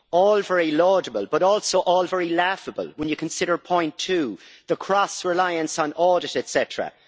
All very laudable, but also all very laughable, when you consider point two the cross reliance on audit, etcetera.